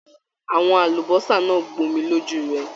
Àwọn àlùbọ́sà náà gbomi lójú rẹ.